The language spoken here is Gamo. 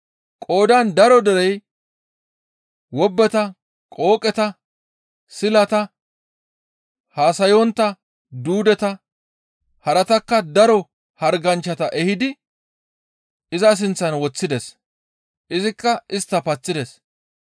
Qoodan daro derey wobbeta, qooqeta, silata, haasayontta duudeta haratakka daro harganchchata ehidi iza sinththan woththides; izikka istta paththides.